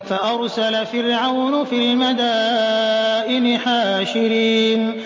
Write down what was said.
فَأَرْسَلَ فِرْعَوْنُ فِي الْمَدَائِنِ حَاشِرِينَ